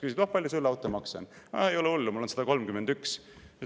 Küsib: "Palju sul automaks on?"– "Ah, ei ole hullu, mul on 131.